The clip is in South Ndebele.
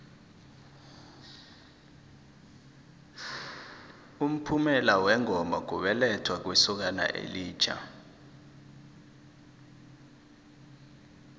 umphumela wengoma kubelethwa kwesokana elitjha